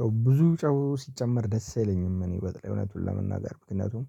ያው ብዙ ጨው ሲጨመር ደስ አይለኝም እኔ በተለይ እውነቱን ለመናገር ምክንያቱም